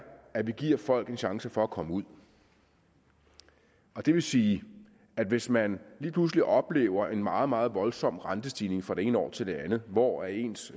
at vi giver folk en chance for at komme ud det vil sige at hvis man lige pludselig oplever en meget meget voldsom rentestigning fra det ene år til det andet hvor ens